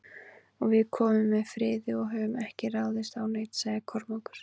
Og við komum með friði og höfum ekki ráðist á neinn, sagði Kormákur.